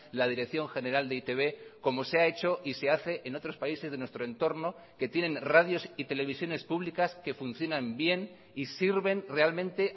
la dirección general de e i te be como se ha hecho y se hace en otros países de nuestro entorno que tienen radios y televisiones públicas que funcionan bien y sirven realmente